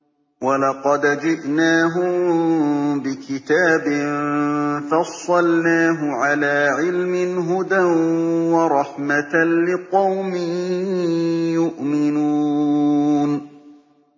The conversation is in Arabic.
وَلَقَدْ جِئْنَاهُم بِكِتَابٍ فَصَّلْنَاهُ عَلَىٰ عِلْمٍ هُدًى وَرَحْمَةً لِّقَوْمٍ يُؤْمِنُونَ